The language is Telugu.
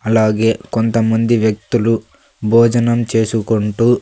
అలాగే కొంతమంది వ్యక్తులు భోజనం చేసుకుంటూ.